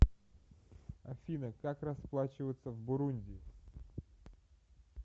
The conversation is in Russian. афина как расплачиваться в бурунди